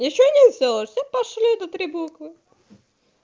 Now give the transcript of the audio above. ничего не взяла все пошли на три буквы